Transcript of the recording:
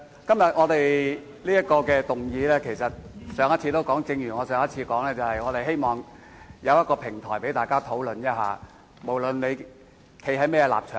正如我在上次會議所說，我動議這項議案，是希望提供一個平台讓大家討論此事，無論大家的立場為何。